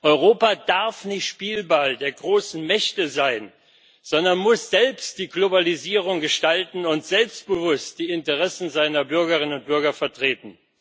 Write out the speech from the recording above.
Europa darf nicht Spielball der großen Mächte sein, sondern muss selbst die Globalisierung gestalten und selbstbewusst die Interessen seiner Bürgerinnen und Bürger vertreten.